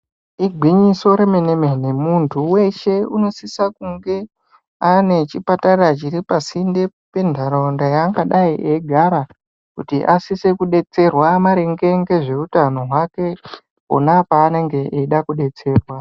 Igwinyiso remene-mene. Muntu weshe unosisa kunge ane chipatara chiri pasinde, pendharaunda yaangadai achigara kuti asise kudetserwa maringe ngezve utano hwake pona paanenge eida kudetserwa.